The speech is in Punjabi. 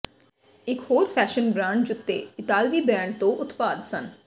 ਇਕ ਹੋਰ ਫੈਸ਼ਨ ਬ੍ਰਾਂਡ ਜੁੱਤੇ ਇਤਾਲਵੀ ਬਰੈਂਡ ਤੋਂ ਉਤਪਾਦ ਸਨ